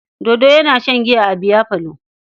Dodo yana shan giya a biyafalo.